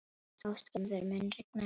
Ástgerður, mun rigna í dag?